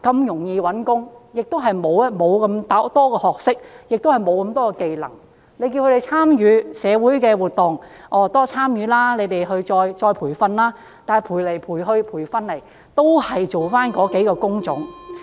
六十多歲的朋友如果學歷不高，亦沒有技能，叫他們多參與社會活動，接受再培訓，但到頭來都只能從事某些工種。